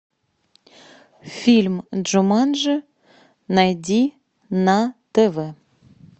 фильм джуманджи найди на тв